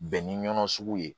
Bɛn ni ɲɔn sugu ye